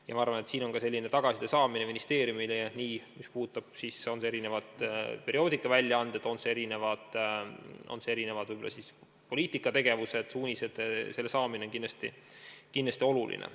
Ja ma arvan, et tagasiside saamine – see puudutab ka perioodikaväljaandeid – meie poliitika ja suuniste kohta on ministeeriumile kindlasti oluline.